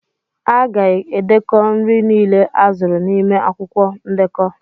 A ga-edekọ nri niile azụrụ n'ime akwụkwọ ndekọ.